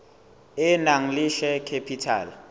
e nang le share capital